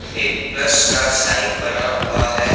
एक प्लस का साइन बना हुआ है।